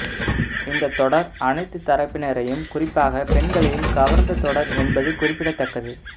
இந்தத் தொடர் அனைத்து தரப்பினரையும் குறிப்பாக பெண்களையும் கவர்ந்த தொடர் என்பது குறிப்பிடத்தக்கது